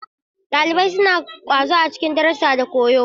Ɗalibai suna ƙwazo a cikin darussa da koyo.